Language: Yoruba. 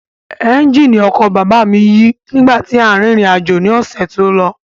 Ẹ́ńjìnì ọkọ̀ bàbá mi yí nígbà tí à ń rírìn àjò ni ọ̀sẹ̀ tó lọ